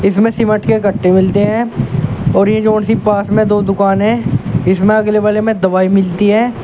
इसमें सीमेंट के गट्टे मिलते हैं और ये जो से पास में दो दुकान है इसमें अगले वाले में दवाई मिलती है।